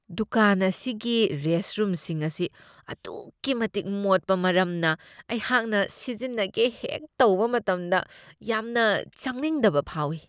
ꯗꯨꯀꯥꯟ ꯑꯁꯤꯒꯤ ꯔꯦꯁꯠꯔꯨꯝꯁꯤꯡ ꯑꯁꯤ ꯑꯗꯨꯛꯀꯤ ꯃꯇꯤꯛ ꯃꯣꯠꯄ ꯃꯔꯝꯅ ꯑꯩꯍꯥꯛꯅ ꯁꯤꯖꯤꯟꯅꯒꯦ ꯍꯦꯛ ꯇꯧꯕ ꯃꯇꯝꯗ ꯌꯥꯝꯅ ꯆꯪꯅꯤꯡꯗꯕ ꯐꯥꯎꯢ ꯫